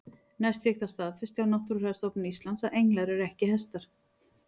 Næst fékkst það staðfest hjá Náttúrufræðistofnun Íslands að englar eru ekki hestar.